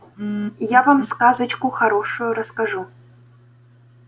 мм я вам сказочку хорошую расскажу